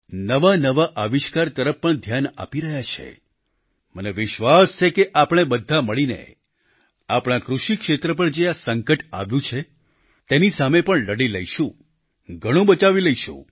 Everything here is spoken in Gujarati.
નવાનવા આવિષ્કાર તરફ પણ ધ્યાન આપી રહ્યા છે અને મને વિશ્વાસ છે કે આપણે બધા મળીને આપણા કૃષિ ક્ષેત્ર પર જે આ સંકટ આવ્યું છે તેની સામે પણ લડી લઈશું ઘણું બચાવી લઈશું